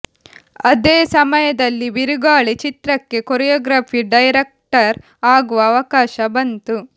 ಅದೇ ಸಮಯದಲ್ಲಿ ಬಿರುಗಾಳಿ ಚಿತ್ರಕ್ಕೆ ಕೊರಿಯೋಗ್ರಫಿ ಡೈರೆಕ್ಟರ್ ಆಗುವ ಅವಕಾಶ ಬಂತು